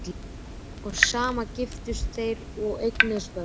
Og samt giftust þeir og eignuðust börn.